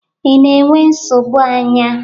ị na-enwe nsogbu anya?